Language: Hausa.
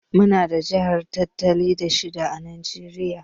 Muna da jihar talatin da shida à Najeriya.